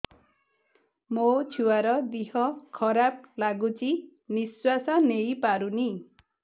ମୋ ଛୁଆର ଦିହ ଖରାପ ଲାଗୁଚି ନିଃଶ୍ବାସ ନେଇ ପାରୁନି